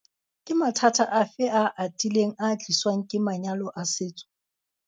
Vuk- Ke mathata afe a atileng a ka tliswang ke manyalo a setso?